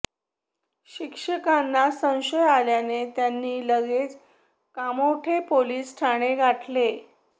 शिक्षकांना संशय आल्याने त्यांनी लगेच कामोठे पोलीस ठाणे गाठले